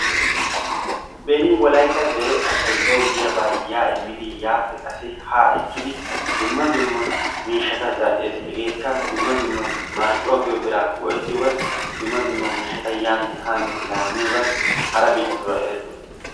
Beni wolaytta asay bawi giyaaba ya immidi yaappe qaassi haa ekkidi dumma dumma miishshata zal"ees. hegeekka dumma dumma marccuwaa giyoo biraa go"ettiyoogan dumma dumma miishshata yaanne haanne laammiyogan hara bittatura erettoosona.